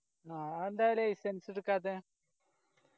ആ എന്താ licence എടുക്കാത്തെ